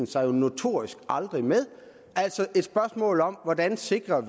sig jo notorisk aldrig med spørgsmålet om hvordan vi sikrer